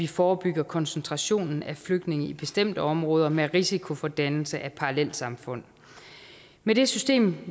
vi forebygger koncentrationen af flygtninge i bestemte områder med risiko for dannelse af parallelsamfund med det system